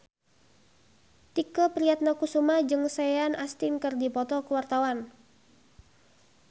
Tike Priatnakusuma jeung Sean Astin keur dipoto ku wartawan